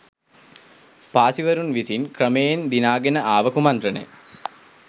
පාසීවරුන් විසින් ක්‍රමයෙන් දිනාගෙන ආව කුමන්ත්‍රණය